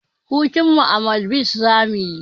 Hutunmu a madibs zamuyi